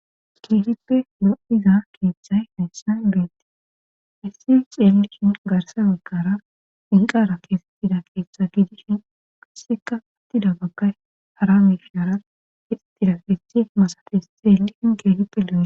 Keehippe lo7iza keeththay neyssan duettii issi xeellishin garsa wekkara inqara keesettida keeththe gidishin kasseka attida baggay hara mishara histira fethe masafes xeellihin geehippe lo'e.